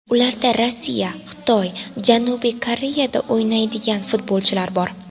Ularda Rossiya, Xitoy, Janubiy Koreyada o‘ynaydigan futbolchilar bor.